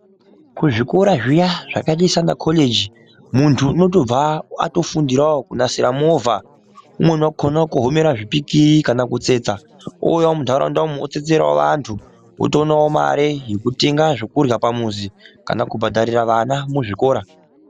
kuzvikora zviya zvakaita sana khoreji munt unotobva atofundirawo kunasira movha unokona kukohomera zvipikiri kana kutsetsa ouya muntaraundamwo otsetserawo vantu otoonawo mare yekutenga zvekurya pamuzi kana kubhadharira vana muzvikora